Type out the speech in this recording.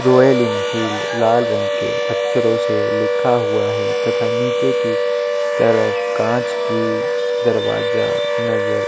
royal Enfield लाल अक्षरों से लिखा हुआ है तथा नीचे की तरफ कांच की दरवाजा नज़र--